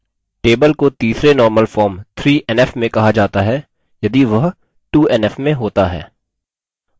table को तीसरे normal form 3nf में कहा जाता है यदि वह 2nf में होता है